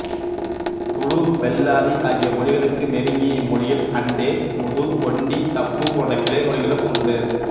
துளு பெல்லாரி ஆகிய மொழிகளுக்கு நெருங்கிய இம்மொழியில் அண்டே முது ஒண்டி தப்பு போன்ற கிளை மொழிகளும் உண்டு